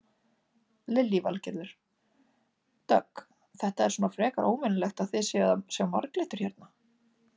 Lillý Valgerður: Dögg þetta er svona frekar óvenjulegt að þið séuð að sjá marglyttur hérna?